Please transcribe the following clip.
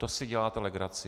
To si děláte legraci.